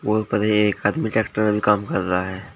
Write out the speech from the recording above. ऊपर एक आदमी ट्रैक्टर में भी काम कर रहा है।